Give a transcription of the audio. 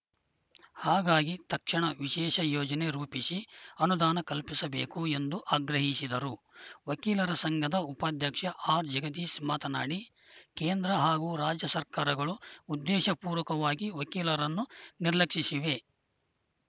ಹಾಗಾಗಿ ತಕ್ಷಣ ವಿಶೇಷ ಯೋಜನೆ ರೂಪಿಸಿ ಅನುದಾನ ಕಲ್ಪಿಸಬೇಕು ಎಂದು ಆಗ್ರಹಿಸಿದರು ವಕೀಲರ ಸಂಘದ ಉಪಾಧ್ಯಕ್ಷ ಆರ್‌ಜಗದೀಶ್‌ ಮಾತನಾಡಿ ಕೇಂದ್ರ ಹಾಗೂ ರಾಜ್ಯ ಸರ್ಕಾರಗಳು ಉದ್ದೇಶ ಪೂರ್ವಕವಾಗಿ ವಕೀಲರನ್ನು ನಿರ್ಲಕ್ಷಿಸಿವೆ